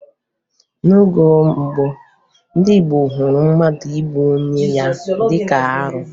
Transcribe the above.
N'oge gboo, ndị Igbo hụrụ mmadụ igbu onwe ya dịka arụ